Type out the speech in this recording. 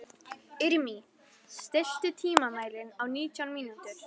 Irmý, stilltu tímamælinn á nítján mínútur.